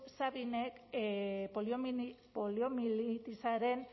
sabinek poliomielitisaren